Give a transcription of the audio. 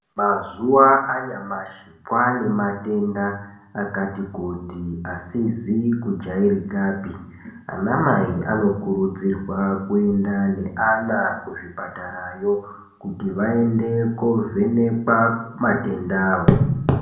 Mazuwa anyamashi kwaane matenda akati kuti asizi kujairikapi. Anamai anokurudzirwa kuenda neana kuzvipatara yo kuti vaende koovhenekwa matenda avo.